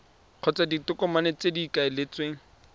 kgotsa ditokomane tse go ikaeletsweng